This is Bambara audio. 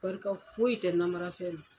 Barika foyi tɛ namarafɛn na.